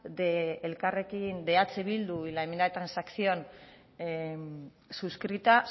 de eh bildu y la enmienda de transacción suscrita